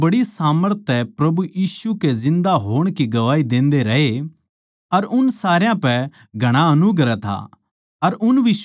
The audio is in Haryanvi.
प्रेरित बड़ी सामर्थ तै प्रभु यीशु के जिन्दा होण की गवाही देन्दे रहे अर उन सारया पै घणा अनुग्रह था